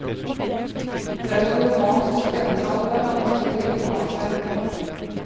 Det er en roman så spennende at den er vanskelig å legge fra seg.